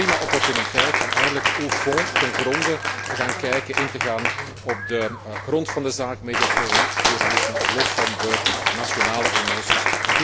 Het is een prima opportuniteit om eindelijk au fond ten gronde, te gaan kijken, in te gaan op de grond van de zaak, mediapluralisme los van nationale emoties.